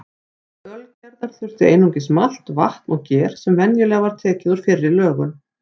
Til ölgerðar þurfti einungis malt, vatn og ger sem venjulega var tekið úr fyrri lögun.